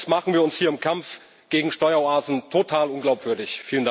Sonst machen wir uns hier im Kampf gegen Steueroasen total unglaubwürdig.